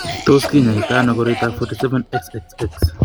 Tos kinyaita ano koroitoab 47 XXX?